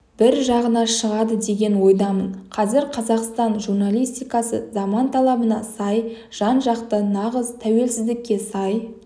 бір жағына шығады деген ойдамын қазір қазақстан журналистикасы заман талабына сай жан-жақты нағыз тәуелсіздікке сай